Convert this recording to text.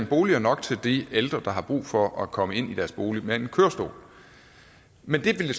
boliger nok til de ældre der har brug for at komme ind i deres bolig med en kørestol men det